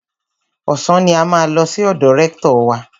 Ọ̀sán ni a máa lọ sí ọ̀dọ̀ rẹ́ktọ̀ wa.